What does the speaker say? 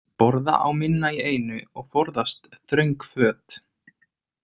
Borða á minna í einu og forðast þröng föt.